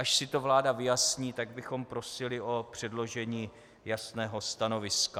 Až si to vláda vyjasní, tak bychom prosili o předložení jasného stanoviska.